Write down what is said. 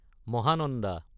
মহানন্দ